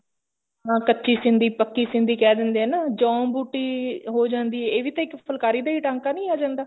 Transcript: ਹਾਂ ਕੱਚੀ ਸਿੰਧੀ ਪੱਕੀ ਸਿੰਧੀ ਕਹਿ ਦਿੰਦੇ ਹਾਂ ਨਾ ਜੋਂ ਬੁੱਟੀ ਹੋ ਜਾਂਦੀ ਐ ਇਹ ਵੀ ਤਾਂ ਇੱਕ ਫੁਲਕਾਰੀ ਦਾ ਹੀ ਟਾਂਕਾ ਨੀ ਆ ਜਾਂਦਾ